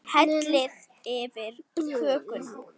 Hellið yfir kökuna.